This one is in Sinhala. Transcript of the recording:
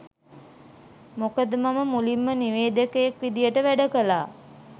මොකද මම මුලින්ම නිවේදකයෙක් විදියට වැඩ කළා.